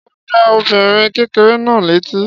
Ṣé ó gbá ọmọbìnrin kékeré náà létí?